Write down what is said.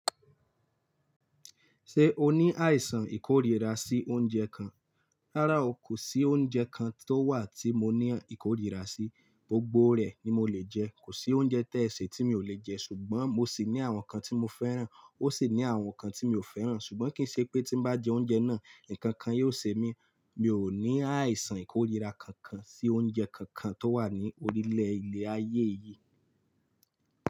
Ṣé o ní àìsàn ìkórira sí oúnjẹ kan? Rárá o, kò sí oúnjẹ kan tó wà tí mo ní ìkórira sí. Gbogbo rẹ̀ ni mo lè jẹ, kò sí oúnjẹ tẹ́ẹ̀ ṣé tí mi ò lè jẹ ṣùgbọ́n mo sì ní àwọn kan tí mo fẹ́ràn ó sì ní àwọn kan tí mi ò fẹ́ràn ṣùgbọ́n kì í ṣe pé tí bá jẹ oúnjẹ náà, nkankan yio ṣe mí. Mi ò ní àìsàn ìkórira kankan sí oúnjẹ kankan tó wà ní orílẹ̀ ilẹ̀ ayé yìí.